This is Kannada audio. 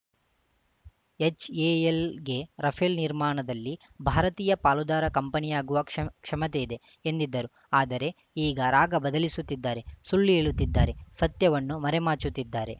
ಎಚ್‌ಎಎಲ್‌ಗೆ ರಫೇಲ್‌ ನಿರ್ಮಾಣದಲ್ಲಿ ಭಾರತೀಯ ಪಾಲುದಾರ ಕಂಪನಿಯಾಗುವ ಕ್ಷಮತೆ ಇದೆ ಎಂದಿದ್ದರು ಆದರೆ ಈಗ ರಾಗ ಬದಲಿಸುತ್ತಿದ್ದಾರೆ ಸುಳ್ಳು ಹೇಳುತ್ತಿದ್ದಾರೆ ಸತ್ಯವನ್ನು ಮರೆಮಾಚುತ್ತಿದ್ದಾರೆ